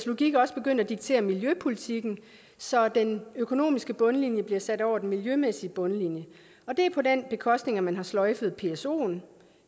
logik også begyndt at diktere miljøpolitikken så den økonomiske bundlinje bliver sat over den miljømæssige bundlinje og det er på den bekostning at man har sløjfet psoen